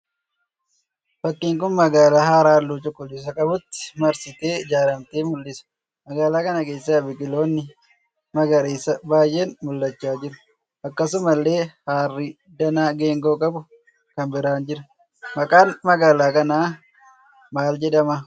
Fakkiin kun magaalaa hara halluu cuquliisaa qabutti marsitee ijaaramte mul'isa. Magaalaa kana keessa biqiloonni magariisaa baayyeen mul'achaa jiru. Akkasumallee harrii danaa geengoo qabu kan biraan jira. maqaan magaalaa kanaa maal jedhama?